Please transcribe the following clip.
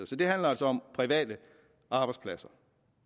så det handler altså om private arbejdspladser